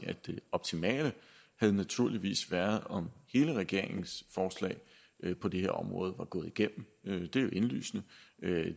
at det optimale naturligvis havde været om hele regeringens forslag på det her område var gået igennem det er jo indlysende